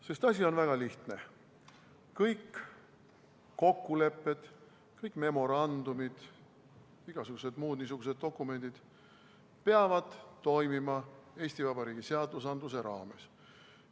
Sest asi on väga lihtne: kõik kokkulepped, kõik memorandumid, igasugused muud niisugused dokumendid peavad toimima Eesti Vabariigi seaduste raames.